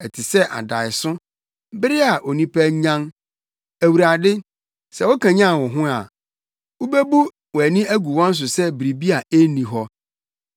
Ɛte sɛ adaeso, bere a onipa anyan, Awurade, sɛ wokanyan wo ho a, wubebu wʼani agu wɔn so sɛ biribi a enni hɔ.